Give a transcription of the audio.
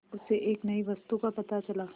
उसे एक नई वस्तु का पता चला